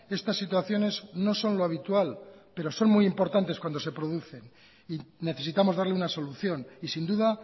estas situaciones no son lo habitual pero son muy importantes cuando se producen y necesitamos darle una solución y sin duda